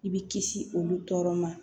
I bɛ kisi olu tɔɔrɔ ma